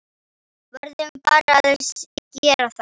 Verðum bara að gera það.